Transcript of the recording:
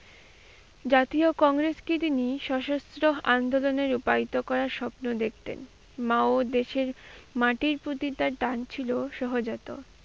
জাতীয় তিনি সশস্ত্র আন্দোলনে রূপায়িত করার স্বপ্ন দেখতেন। মা ও দেশের মাটির প্রতি তার টান ছিল সহজাত।